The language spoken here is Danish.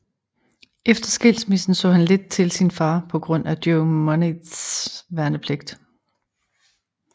Efter skilsmissen så han lidt til sin far på grund af Joe Monteiths værnepligt